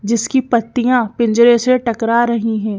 जिसकी पत्तियां पिंजरे से टकरा रही हैं।